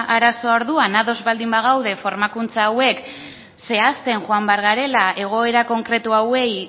arazoa orduan ados baldin bagaude formakuntza hauek zehazten joan behar garela egoera konkretu hauei